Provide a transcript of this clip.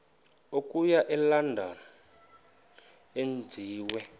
okuya elondon enziwe